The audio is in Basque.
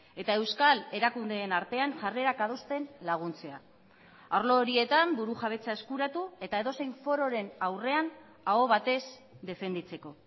eta euskal erakundeen artean jarrerak adosten laguntzea arlo horietan burujabetza eskuratu eta edozein fororen aurrean aho batez defenditzeko